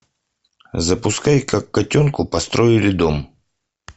запускай как котенку построили дом